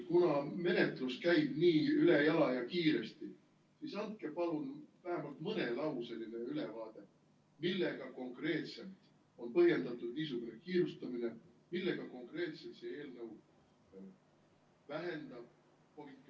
Kuna menetlus käib nii ülejala ja kiiresti, siis andke palun vähemalt mõnelauseline ülevaade, millega konkreetselt on põhjendatud niisugune kiirustamine, millega konkreetselt see eelnõu vähendab COVID-i ...